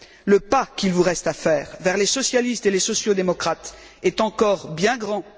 Le pas qu'il vous reste à faire vers les socialistes et les sociaux démocrates est encore bien grand.